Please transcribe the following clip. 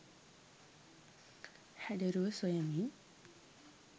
හැඩරුව සොයමින්